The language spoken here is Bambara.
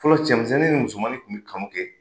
Fɔlɔ cɛmisɛnnin ni musomanin kun be kanu kɛ